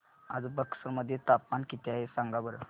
आज बक्सर मध्ये तापमान किती आहे सांगा बरं